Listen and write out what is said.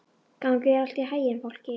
Gangi þér allt í haginn, Fálki.